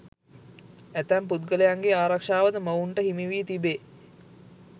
ඇතැම් පුද්ගලයන්ගේ ආරක්ෂාවද මොවුන්ට හිමිවී තිබේ.